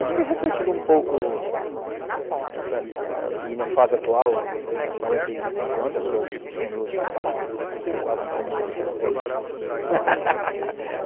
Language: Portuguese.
Acho que refletindo um pouco essa minha fase atual, eu tenho quarenta e cinco anos, eu sou quase um senhor de respeito.